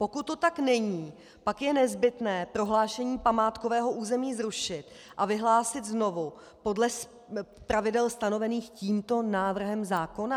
Pokud to tak není, pak je nezbytné prohlášení památkového území zrušit a vyhlásit znovu podle pravidel stanovených tímto návrhem zákona.